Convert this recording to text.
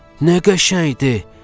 Nə qəşəngdir!